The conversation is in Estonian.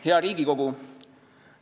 Hea Riigikogu!